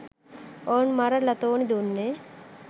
ඔවුන් මර ලතෝනි දුන්නේ